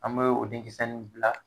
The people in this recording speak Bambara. An bɛ o denkisɛ nun bila